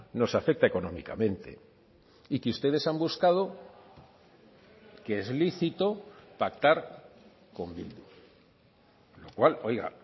nos afecta económicamente y que ustedes han buscado que es lícito pactar con bildu lo cual oiga